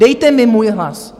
Dejte mi můj hlas.